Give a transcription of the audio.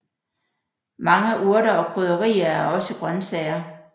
Mange urter og krydderier er også grøntsager